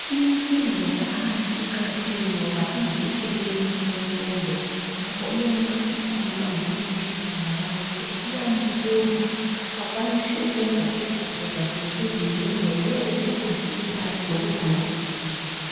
Infundo yaphansi iqakathekile ngoba iyisisekelo semfundo njalo iyamncedisa umntwana ukuphila labanye futhi iyambumba akwanise ukwenza izizstho zakhe lokuzimela lokuzimela ngoba uyabesekwazi ukubala kanye lokubhala ibizo lakhe.